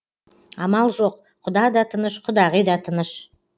амал жоқ құда да тыныш құдағи да тыныш